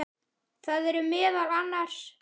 Það eru meðal annars